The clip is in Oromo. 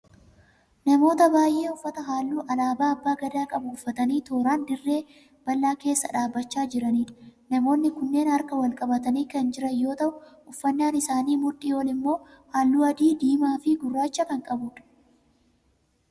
Namoota baay'ee uffata halluu alaabaa abba gadaa qabu uffatanii tooraan dhirree bal'aa keessa dhaabbachaa jiraniidha. Namoonni kunneen harka wal qabatanii kan jiran yoo ta'u uffannaan isaanii mudhii olii immoo hallu adii, diimaa fi gurraacha kan qabuudha.